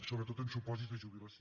sobretot en supòsits de jubilació